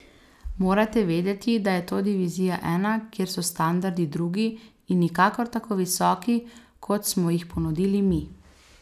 Morate vedeti, da je to Divizija I, kjer so standardi drugi in nikakor tako visoki, kot smo jih ponudili mi.